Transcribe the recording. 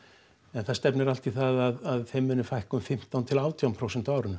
en það stefnir allt í það að þeim muni fækka um fimmtán til átján prósent á árinu